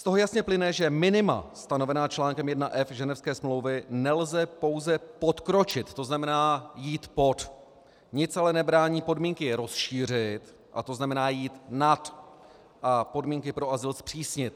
Z toho jasně plyne, že minima stanovená článkem 1f Ženevské smlouvy nelze pouze podkročit, to znamená jít pod, nic ale nebrání podmínky rozšířit, to znamená jít nad a podmínky pro azyl zpřísnit.